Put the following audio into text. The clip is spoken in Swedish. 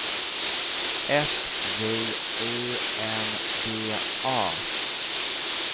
S J U N G A